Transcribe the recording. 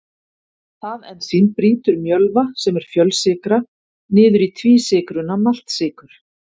það ensím brýtur mjölva sem er fjölsykra niður í tvísykruna maltsykur